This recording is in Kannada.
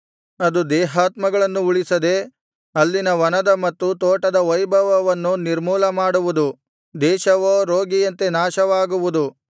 ಅದು ದೇಹಾತ್ಮಗಳನ್ನು ಉಳಿಸದೇ ಅಲ್ಲಿನ ವನದ ಮತ್ತು ತೋಟದ ವೈಭವವನ್ನು ನಿರ್ಮೂಲ ಮಾಡುವುದು ದೇಶವೋ ರೋಗಿಯಂತೆ ನಾಶವಾಗುವುದು